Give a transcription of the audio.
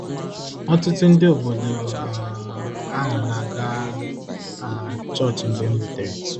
Ọtụtụ ndị obodo um ahụ na-aga um chọọchị mgbe m rutere.